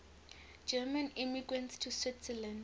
german immigrants to switzerland